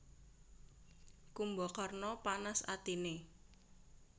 Kumbakarna panas atiné